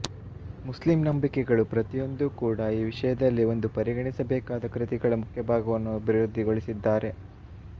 Muslim ನಂಬಿಕೆಗಳು ಪ್ರತಿಯೊಂದೂ ಕೂಡ ಈ ವಿಷಯದಲ್ಲಿ ಒಂದು ಪರಿಗಣಿಸಬೇಕಾದ ಕೃತಿಗಳ ಮುಖ್ಯಭಾಗವನ್ನು ಅಭಿವೃದ್ಧಿಗೊಳಿಸಿದ್ದಾರೆ